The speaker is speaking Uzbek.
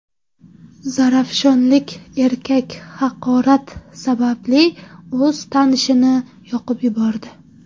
Zarafshonlik erkak haqorat sababli o‘z tanishini yoqib yubordi.